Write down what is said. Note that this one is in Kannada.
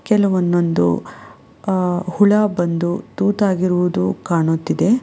ಕೆಲ ಒಂದೊಂದು ಅ ಹುಳ ಬಂದು ತೂತಾಗಿರುವುದು ಕಾಣುತ್ತಿದೆ.